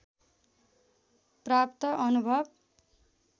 प्राप्त अनुभव